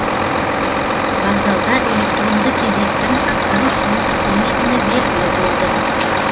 вокзалда электронды кезектің дұрыс жұмыс істемейтіні белгілі болды